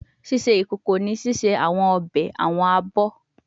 Ṣiṣe ikoko ni ṣiṣe awọn obe, awọn abọ